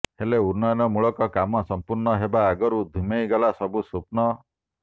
ହେଲେ ଉନ୍ନୟନ ମୂଳକ କାମ ସଂପୂର୍ଣ୍ଣ ହେବା ଆଗରୁ ଧିମେଇ ଗଲା ସବୁ ସ୍ୱପ୍ନ